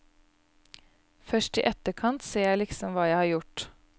Først i etterkant ser jeg liksom hva jeg har gjort.